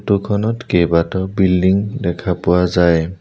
Photo খনত কেইবাটাও building দেখা পোৱা যায়।